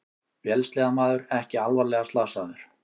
Vélsleðamaður ekki alvarlega slasaður